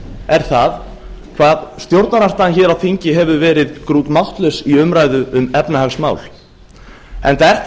er það hvað stjórnarandstaðan hér á þingi hefur verið grútmáttlaus í umræðu um efnahagsmál enda er